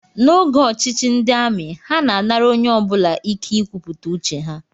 N'oge ọchịchị ndị amị, ha na-anara onye ọ bụla ike nkwupụta uche ha